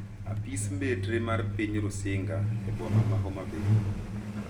Apis mbetre mar piny Rusinga e boma ma Homa Bay